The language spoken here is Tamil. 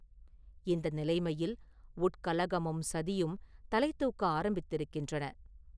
இந்த நிலைமையில் உட்கலகமும் சதியும் தலைதூக்க ஆரம்பித்திருக்கின்றன.